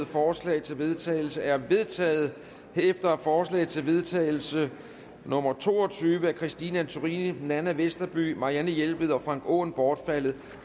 forslag til vedtagelse er vedtaget herefter er forslag til vedtagelse nummer to og tyve af christine antorini nanna westerby marianne jelved og frank aaen bortfaldet